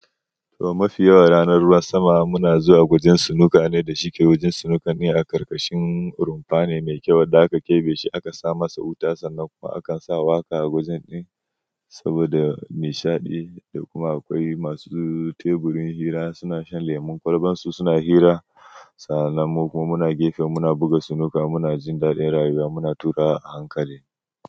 To mafi yawan ranar ruwan sama muna zuwa wajen sinuka ne da shike. Wajen sinuka ne a ƙarƙashin rumfa ne mai kyau da aka keɓe shi aka sa masa wuta sannan kuma aka sa waƙa a wajen din saboda nishaɗi. Da kuma akwai masu teburin hira suna shan lemon kwalban su suna hira. Sannan mu kuma muna gefe muna buga sinuka muna jin daɗin rayuwa muna tura a hankali.